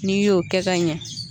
N'i y'o kɛ ka ɲɛ